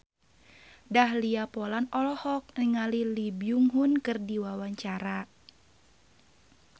Dahlia Poland olohok ningali Lee Byung Hun keur diwawancara